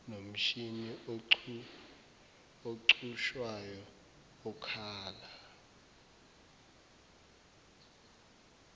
nomshini ocushwayo okhala